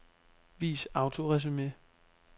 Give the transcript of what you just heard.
Vis autoresumé.